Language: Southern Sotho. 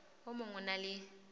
o mong o na le